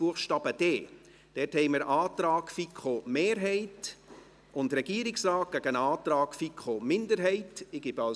Buchstabe d liegt ein Antrag der FiKo-Mehrheit und des Regierungsrates gegen den Antrag der FiKo-Minderheit vor.